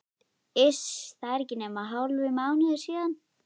Iss, það er ekki nema hálfur mánuður síðan.